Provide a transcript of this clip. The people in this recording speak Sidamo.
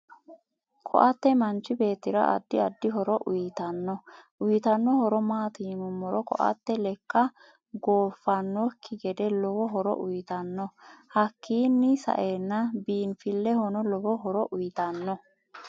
KO'tte manchi beetira addi addi horo uyiitanno uyiitanno horo maati yinumoro ko'tte lekka gofidhanoki gede lowo hooro uyiitanno hakiini sa'enno biinfilehono lowo horo uyiitanno